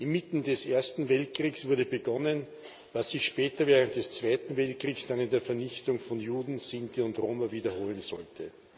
Inmitten des Ersten Weltkriegs wurde begonnen, was sich später während des Zweiten Weltkriegs dann in der Vernichtung von Juden, Sinti und Roma wiederholen sollte.